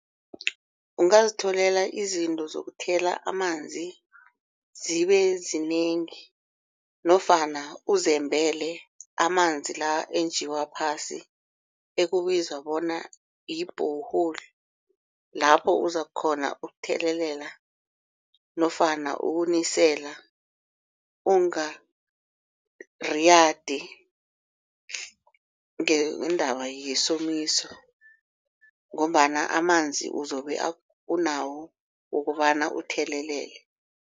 Ungazitholela izinto zokuthela amanzi zibe zinengi nofana uzembele amanzi la enjiwa phasi ekubizwa bona yi-borehole. Lapho uzakukghona ukuthelelela nofana ukunisela ungariyadi ngeendaba yisomiso ngombana amanzi uzobe unawo wokobana uthelelele.